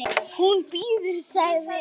Hún bíður, sagði